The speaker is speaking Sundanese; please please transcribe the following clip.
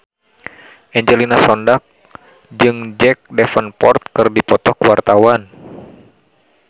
Angelina Sondakh jeung Jack Davenport keur dipoto ku wartawan